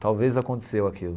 Talvez aconteceu aquilo.